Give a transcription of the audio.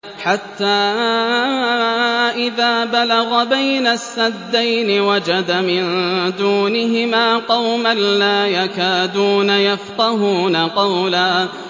حَتَّىٰ إِذَا بَلَغَ بَيْنَ السَّدَّيْنِ وَجَدَ مِن دُونِهِمَا قَوْمًا لَّا يَكَادُونَ يَفْقَهُونَ قَوْلًا